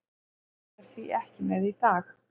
Hann er því ekki með í dag.